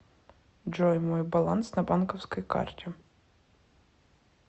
джой мой баланс на банковской карте